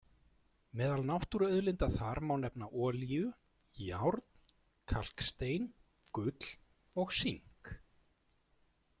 Meðal náttúruauðlinda þar má nefna olíu, járn, kalkstein, gull og sink.